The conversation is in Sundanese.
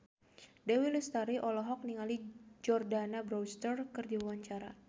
Dewi Lestari olohok ningali Jordana Brewster keur diwawancara